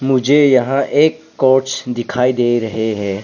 मुझे यहां एक कोच दिखाई दे रहे हैं।